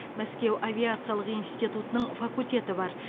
мәскеу авиациялық институтының факультеті бар